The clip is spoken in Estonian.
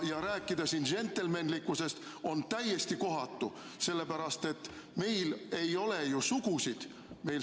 Ja rääkida siin džentelmenlikkusest on täiesti kohatu, sellepärast et meil ei ole ju sugusid.